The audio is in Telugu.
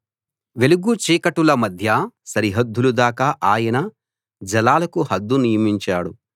వెలుగు చీకటుల మధ్య సరిహద్దుల దాకా ఆయన జలాలకు హద్దు నియమించాడు